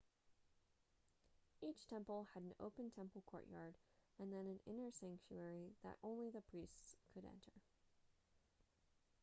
each temple had an open temple courtyard and then an inner sanctuary that only the priests could enter